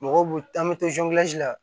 Mɔgɔw b'u an bɛ to la